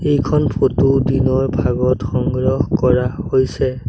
এইখন ফটো দিনৰ ভাগত সংগ্ৰহ কৰা হৈছে।